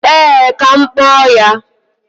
Ee, ka m kpọọ ya